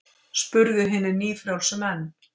spurðu hinir nýfrjálsu menn.